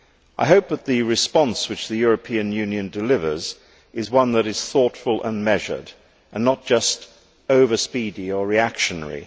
I hope that the response which the European Union delivers is one that is thoughtful and measured and not just over speedy or reactionary.